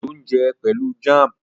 Ojo n jé Pẹlú jam.